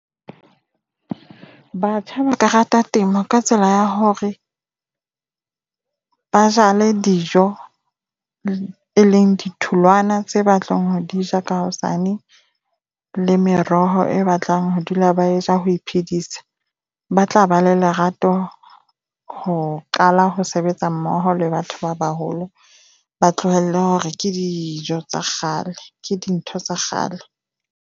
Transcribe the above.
Batjha ba ka rata temo ka tsela ya hore ba jale dijo e leng ditholwana tse ba tlong ho di ja ka hosane le meroho e ba tlang ho dula ba je a ho iphedisa. Ba tla ba le lerato ho qala ho sebetsa mmoho le batho ba baholo. Ba tlohelle hore ke dijo tsa kgale ke dintho tsa kgale.